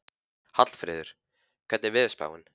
Hallfreður, hvernig er veðurspáin?